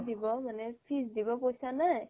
দিব মানে fees দিব পইচা নাই